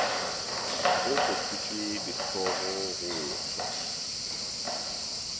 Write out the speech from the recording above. go kgothotšwe dihlogo go ohlwa